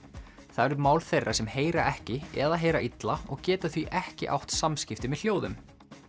það eru mál þeirra sem heyra ekki eða heyra illa og geta því ekki átt samskipti með hljóðum